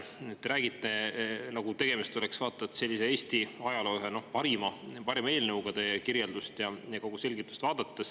Te räägite, nagu tegemist oleks, vaata et sellise Eesti ajaloo ühe parima eelnõuga teie kirjeldust ja kogu selgitust vaadates.